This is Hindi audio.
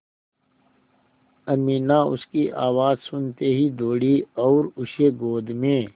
अमीना उसकी आवाज़ सुनते ही दौड़ी और उसे गोद में